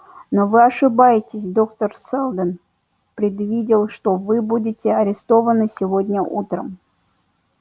но вы ошибаетесь доктор сэлдон предвидел что вы будете арестованы сегодня утром